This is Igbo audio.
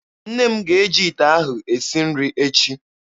Nne m ga-eji ite ahụ esi nri echi.